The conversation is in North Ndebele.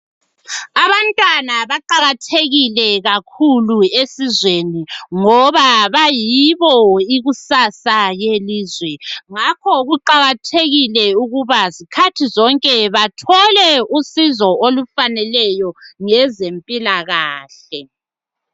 Abantwana baqakathekile kakhulu esizweni ngoba bayibo ikusasa yelizwe. Ngakho kuqakathekile ukuba zikhathi zonke bathole usizo olufaneleyo ngezempilakahle